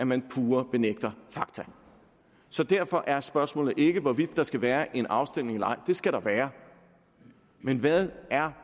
man pure benægter fakta så derfor er spørgsmålet ikke hvorvidt der skal være en afstemning eller ej det skal der være men hvad er